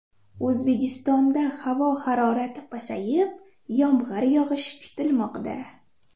O‘zbekistonda havo harorati pasayib, yomg‘ir yog‘ishi kutilmoqda.